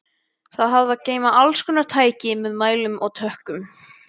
Það hafði að geyma allskonar tæki með mælum og tökkum.